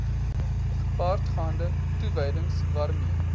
gepaardgaande toewyding waarmee